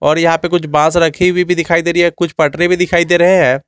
और यहां पे कुछ बांस रखी हुई भी दिखाई दे रही है कुछ पटरी भी दिखाई दे रहे हैं।